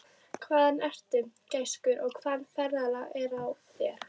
Hvaðan ertu, gæskur, og hvaða ferðalag er á þér?